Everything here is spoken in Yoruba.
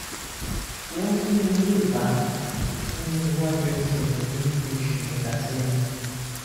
won fun mi ni ipa ni iwaju ẹsẹ mi ni bi osu meta seyin